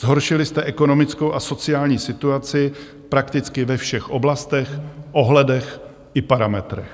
Zhoršili jste ekonomickou a sociální situaci prakticky ve všech oblastech, ohledech i parametrech.